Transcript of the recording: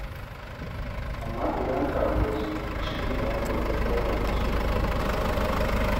Amma idan Kawu ya zo, shi ne wanda zai koya muku karatu.